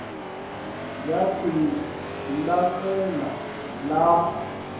yakhe lesasele lapha